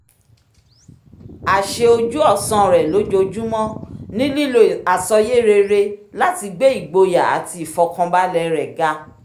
àṣe ojú-ọ̀sán rẹ lójoojúmọ́ ni lílo àsọyé rere láti gbé igboyà àti ìfọkànbalẹ̀ rẹ ga